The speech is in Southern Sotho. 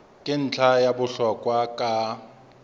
ke ntlha ya bohlokwa ka